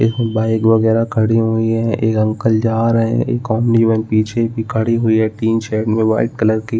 एक बाइक वगेरा खड़ी हुई है एक अंकल जा रहे है एक पीछे भी खड़ी हुई है टीन शेड में वाइट कलर की --